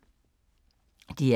DR2